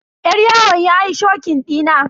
Yar yawon yayi shokin dina.